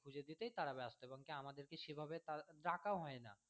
খুঁজে দিতে তারা ব্যস্ত এবং আমাদেরকে সেভাবে